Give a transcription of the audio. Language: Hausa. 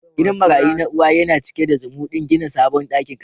Gidan marayu na uwa yana cike da zumudin gina sabon dakin karatu.